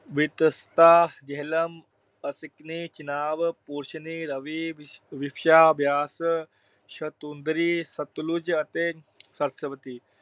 ਵਿਤਸਤਾ ਜੇਹਲਮ, ਅਸਿਕਨੀ ਚਿਨਾਬ, ਪੁਰੁਸ਼ਨੀ ਰਾਵੀ, ਵਿਪਾਸ਼ਾ ਬਿਆਸ, ਸੁਤੁਦਰੀ ਸਤਲੁਜ ਅਤੇ ਸਰਸਵਤੀ।